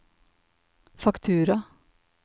faktura